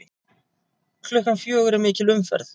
Klukkan fjögur er mikil umferð.